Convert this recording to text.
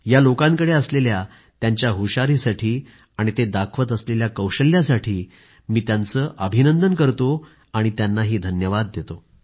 या लोकांकडे असलेल्या त्यांच्या हुशारीसाठी आणि ते दाखवत असलेल्या कौशल्यासाठी मी त्यांचे अभिनंदन करतो आणि त्यांना धन्यवाद देतो